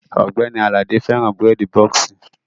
Ògbẹ́ni Àlàdé fẹ́ràn bírèèdì bọ́ọ̀ksì